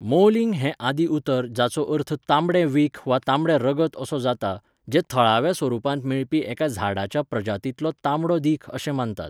मौलिंग हें आदि उतर जाचो अर्थ तांबडें विख वा तांबडें रगत असो जाता, जें थळाव्या स्वरुपांत मेळपी एका झाडाच्या प्रजातींतलो तांबडो दीख अशें मानतात.